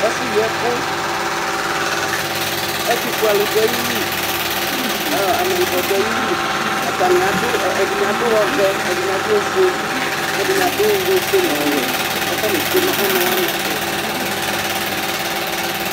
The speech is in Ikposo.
Ɛfʋyiɛkʋ Ɛtʋfuealʋ dʋ ayili kʋ ɔ ameyibɔ dʋ ayili Atanɩ adʋ ɔ ɛdɩnɩ adʋ ɔvɛ, ɛdɩnɩ adʋ ofue kʋ ɛdɩnɩ adʋ ofue nʋ ɔwɛ kʋ atanɩ tsue nʋ ɔnʋ wanɩ ɛtʋ